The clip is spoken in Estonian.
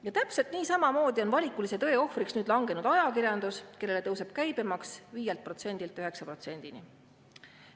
Ja täpselt niisamamoodi on valikulise tõe ohvriks nüüd langenud ajakirjandus, kellele tõuseb käibemaks 5%‑lt 9%‑ni.